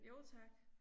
Jo tak